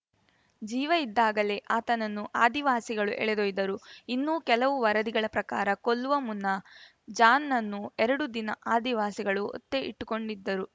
ಜೀವ ಇದ್ದಾಗಲೇ ಆತನನ್ನು ಆದಿವಾಸಿಗಳು ಎಳೆದೊಯ್ದರು ಇನ್ನೂ ಕೆಲವು ವರದಿಗಳ ಪ್ರಕಾರ ಕೊಲ್ಲುವ ಮುನ್ನ ಜಾನ್‌ನನ್ನು ಎರಡು ದಿನ ಆದಿವಾಸಿಗಳು ಒತ್ತೆ ಇಟ್ಟುಕೊಂಡಿದ್ದರು